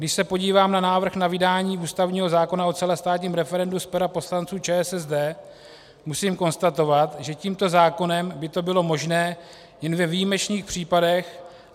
Když se podívám na návrh na vydání ústavního zákona o celostátním referendu z pera poslanců ČSSD, musím konstatovat, že tímto zákonem by to bylo možné jen ve výjimečných případech.